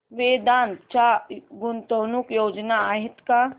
वेदांत च्या गुंतवणूक योजना आहेत का